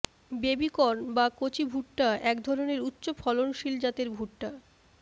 baby corn বা কচি ভুট্টা এক ধরনের উচ্চ ফলনশীল জাতের ভুট্টা